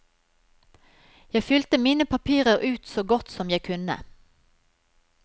Jeg fylte mine papirer ut så godt som jeg kunne.